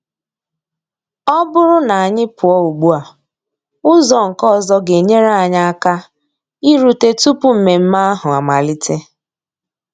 Ọ bụrụ na anyị pụọ ugbua, ụzọ nke ọzọ ga-enyere anyị aka irute tupu mmemme ahụ amalite.